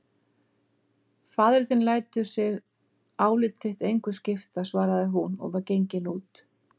Faðir þinn lætur sig álit þitt engu skipta, svaraði hún og var gengin út.